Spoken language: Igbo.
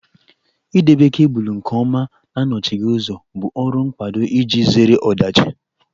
Idobe kebụlụ nke ọma na anọchighị ụzọ bụ ọrụ mkpado iji zere ọdachi